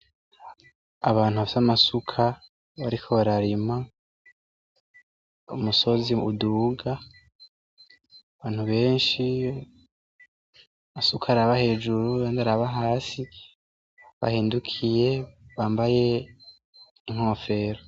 Abantu bafise amasuka bariko bararima umusozi uduga abantu benshi amasuka araba hejuru ayandi araba hasi bahindukiye bambaye inkofero.